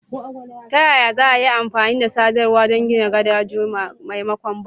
Ta yaya za a yi amfani da sadarwa don gina gadoji maimakon bango?